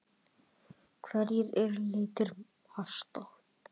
Hverjir eru litir hesta?